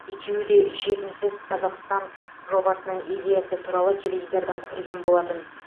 екеуі де жетімсіз қазақстан жобасының идеясы туралы теледидардан көрген болатын